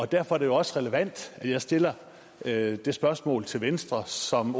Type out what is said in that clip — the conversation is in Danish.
derfor er det også relevant at jeg stiller det det spørgsmål til venstre som